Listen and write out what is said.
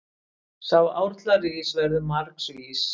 Sá árla rís verður margs vís.